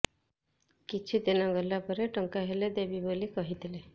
କିଛି ଦିନ ଗଲା ପରେ ଟଙ୍କା ହେଲେ ଦେବି ବୋଲି କହିଥିଲି